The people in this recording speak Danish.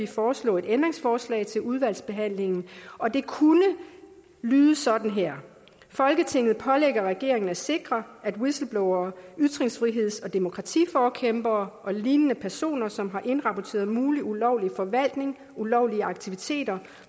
foreslå et ændringsforslag til udvalgsbehandlingen og det kunne lyde sådan her folketinget pålægger regeringen at sikre at whistleblowere ytringsfriheds og demokratiforkæmpere og lignende personer som har indrapporteret mulig ulovlig forvaltning ulovlige aktiviteter